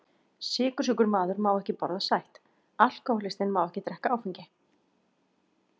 Sykursjúkur maður má ekki borða sætt, alkohólistinn má ekki drekka áfengi.